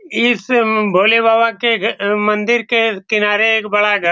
इस भोले बाबा के मंदिर के किनारे एक बड़ा घ --